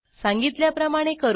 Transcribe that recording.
सांगितल्याप्रमाणे करू